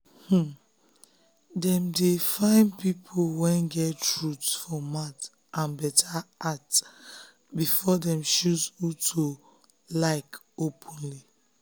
um dem dey um find people wey get truth um for mouth and better heart before dem choose who to like openly.